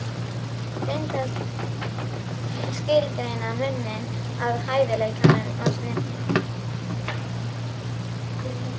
Reynt að skilgreina muninn á hæfileikamanni og snillingi.